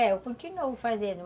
É, eu continuo fazendo.